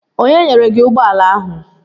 Onye nyere gị ụgbọala ahụ?